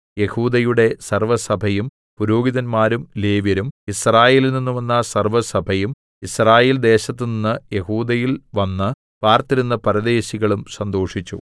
യെഹൂദയുടെ സർവ്വസഭയും പുരോഹിതന്മാരും ലേവ്യരും യിസ്രായേലിൽനിന്ന് വന്ന സർവ്വസഭയും യിസ്രായേൽ ദേശത്തുനിന്ന് യെഹൂദയിൽ വന്ന് പാർത്തിരുന്ന പരദേശികളും സന്തോഷിച്ചു